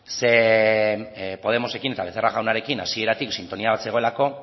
zeren podemosekin eta becerra jaunarekin hasieratik sintonia bat zegoelako